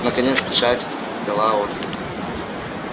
наконец печать дала отклик